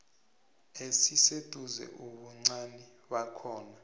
esiseduze ubuncani bakhona